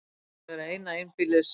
Þetta mun vera eina einbýlis